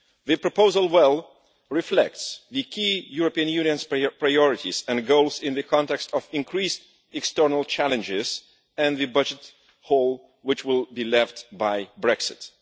The proposal well reflects the key European Union priorities and goals in the context of increased external challenges and the budget hole which will be left by Brexit.